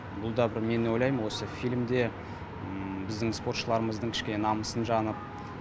бұл да бір мен ойлаймын осы фильмде біздің спортшыларымыздың кішкене намысын жанып